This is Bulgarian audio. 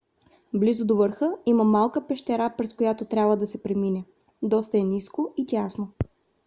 близо до върха има малка пещера през която трябва да се премине. доста е ниско и тясно